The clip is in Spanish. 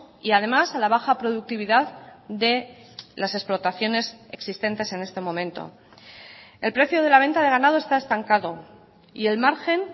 y además a la baja productividad de las explotaciones existentes en este momento el precio de la venta de ganado está estancado y el margen